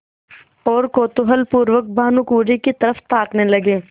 और कौतूहलपूर्वक भानुकुँवरि की तरफ ताकने लगे